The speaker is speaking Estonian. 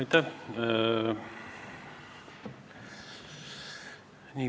Aitäh!